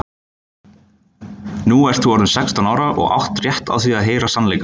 Nú ert þú orðin sextán ára og átt rétt á því að heyra sannleikann.